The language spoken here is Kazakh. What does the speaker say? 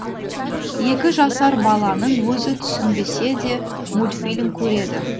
екі жасар баланың өзі түсінбесе де мультфильм көреді